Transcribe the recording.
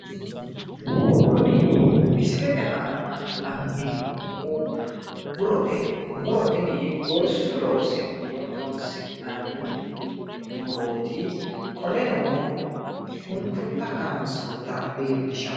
Kuni misilete aana la'neemmohu murote, muro tini gorsu loosunni horonsi'nanni muroti, qoleno shunkurta kayiinsoyita leellishshanno